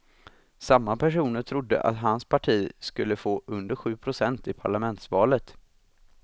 Samma personer trodde att hans parti skulle få under sju procent i parlamentsvalet.